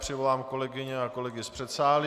Přivolám kolegyně a kolegy z předsálí.